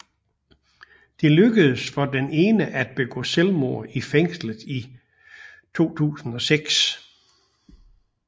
Det lykkedes for den ene at begå selvmord i fængslet i 2006